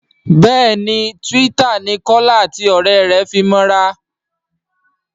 béèni Twitter ní Kola àti òré rẹ fí mọ ra.